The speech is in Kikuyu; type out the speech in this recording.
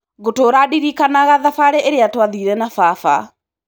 Ngũtũra ndirikanaga thabarĩ ĩrĩa twathire na baba.